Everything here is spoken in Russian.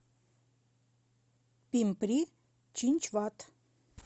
пимпри чинчвад